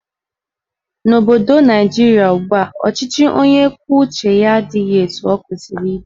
N'obodo Naijiria ugbua, ọchịchị onye kwuo uche ya adịghị etu ọ kwesịrị ịdị.